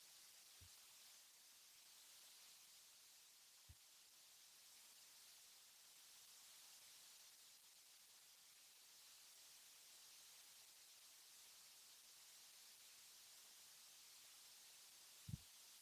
faaya yookaan ammoo diioorii, diikooriin guyyaa gammachuu kan hojjatamuudha. isaanis kanneen akka guyyaa cidhaa, guyyaa eebbaa fi guyyaalee gammachuun kanneen birooti. keessuma diikooriin kun ammoo kan yaaddannoo guyyaa dhalootaaf qophaa'edha.